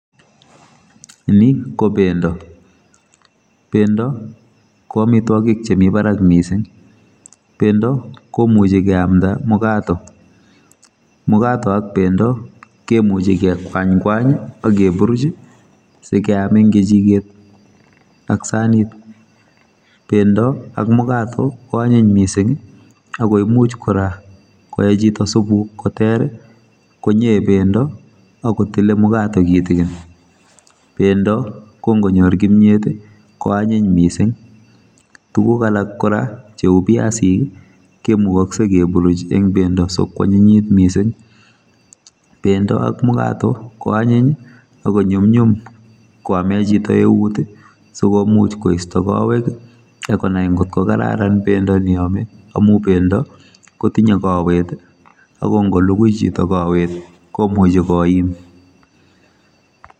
Ni kobendo bendo koamitwokik chemi barak mising bendo kemuchi keamda mugato, mugato ak bendo kemuchi kekwanykwany akeburuch sigeam eng kijiket ak sanit bendo ak mugato kwanyimy mising akoimuch kora koe chito subuk koter konyee bendo akotile mugato kitigin bendo kongonyor kimyet koanyiny mising tuguk alak kora cheu piasik kemuche keburuch eng bendo sikwanyinyit mising bendo ak mugato kwanyiny akonyumnyum kwame chito eut sikomuch koisto kawek akonai ngotko kararan bendo neome amu bendo kotinye kawet akongolugui chito kawet komuchi koim.